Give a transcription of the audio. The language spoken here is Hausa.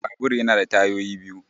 Babur ya na da tayoyi biyu